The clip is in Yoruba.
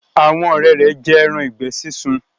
Àwọn òré rẹ jé èràn ìgbẹ sisùn.